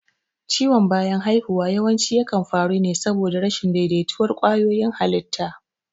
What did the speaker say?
Ciwon bayan haihuwa yawanci yakan faru ne saboda rashin daidaituwar ƙwayoyin halitta.